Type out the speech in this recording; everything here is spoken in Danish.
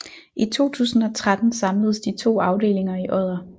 I 2013 samledes de to afdelinger i Odder